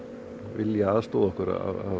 vilja aðstoða okkur